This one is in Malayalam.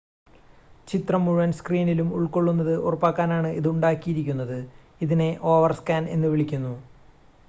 ചിത്രം മുഴുവൻ സ്‌ക്രീനിലും ഉൾക്കൊള്ളുന്നത് ഉറപ്പാക്കാനാണ് ഇത് ഉണ്ടാക്കിയിരിക്കുന്നത് അതിനെ ഓവർസ്‌കാൻ എന്നുവിളിക്കുന്നു